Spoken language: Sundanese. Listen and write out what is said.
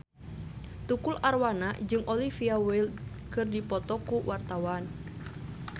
Tukul Arwana jeung Olivia Wilde keur dipoto ku wartawan